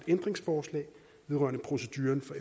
ændringsforslag vedrørende proceduren for